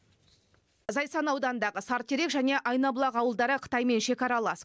зайсан ауданындағы сарытерек және айнабұлақ ауылдары қытаймен шекаралас